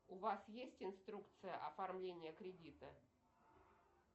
у вас есть инструкция оформления кредита